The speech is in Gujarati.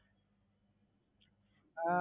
એવું છે. એમાં મારે કેટલા